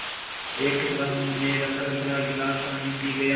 एक टुकड़ा मुँह में रखकर भरा गिलास पानी पी गया